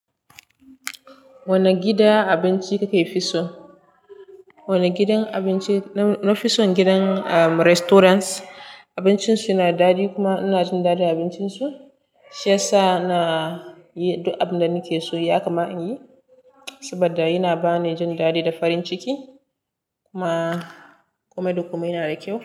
Wane gidan abinci kuka fi so? Wane gidan abinci? Na fison gidan restaurants abincin su yana daɗi kuma ina jin daɗin abincin su. Shiyasa na yi duk abunda nake so yakama in yi saboda yana bani jin daɗi da farin ciki. Kuma komai da komai yana da kyau.